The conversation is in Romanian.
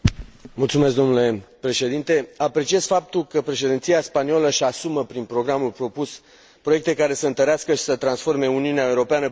Apreciez faptul că președinția spaniolă își asumă, prin programul propus, proiecte care să întărească și să transforme Uniunea Europeană prin inovare și legitimizare.